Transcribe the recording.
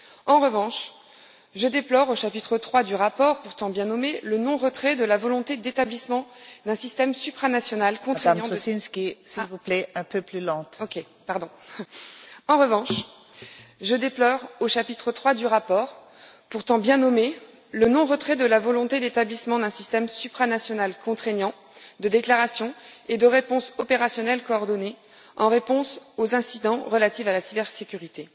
En revanche, je déplore, au chapitre 3 du rapport pourtant bien nommé, le non retrait de la volonté d'établissement d'un système supranational contraignant de déclarations et de réponses opérationnelles coordonnées en réponse aux incidents relatifs à la cybersécurité.